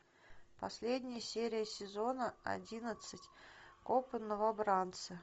последняя серия сезона одиннадцать копы новобранцы